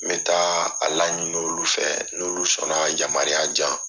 N be taa a la ɲini olu fɛ , n'olu sɔnna ka yamaruya jan.